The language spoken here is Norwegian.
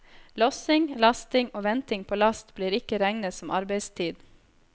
Lossing, lasting og venting på last blir ikke regnet som arbeidstid.